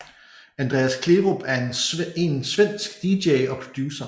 Andreas Kleerup er en svenske DJ og producer